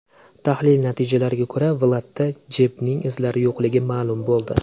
Tahlil natijalariga ko‘ra Vladda Jebning izlari yo‘qligi ma’lum bo‘ldi.